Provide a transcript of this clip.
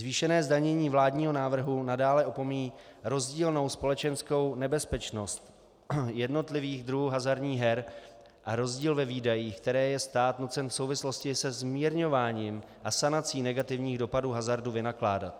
Zvýšené zdanění vládního návrhu nadále opomíjí rozdílnou společenskou nebezpečnost jednotlivých druhů hazardních her a rozdíl ve výdajích, který je stát nucen v souvislosti se zmírňováním a sanací negativních dopadů hazardu vynakládat.